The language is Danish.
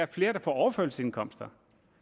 flere på overførselsindkomster